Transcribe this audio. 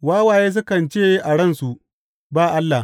Wawaye sukan ce a ransu, Ba Allah.